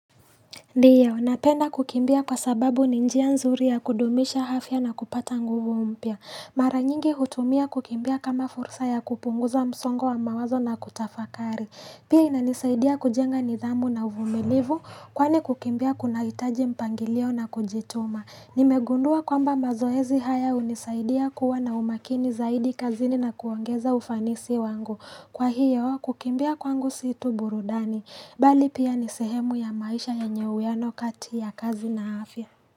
Ndiyo, napenda kukimbia kwa sababu ni njia nzuri ya kudumisha afya na kupata nguvu mpya. Mara nyingi hutumia kukimbia kama fursa ya kupunguza msongo wa mawazo na kutafakari. Pia inanisaidia kujenga nidhamu na uvumilivu, kwani kukimbia kunahitaji mpangilio na kujituma. Nime gundua kwamba mazoezi haya hunisaidia kuwa na umakini zaidi kazini na kuongeza ufanisi wangu Kwa hiyo kukimbia kwangu si tu burudani Bali pia ni sehemu ya maisha yenye uwiano kati ya kazi na afya.